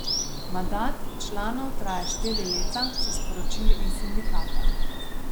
Mandat članov traja štiri leta, so sporočili iz sindikata.